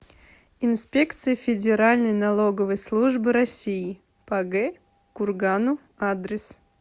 инспекция федеральной налоговой службы россии по г кургану адрес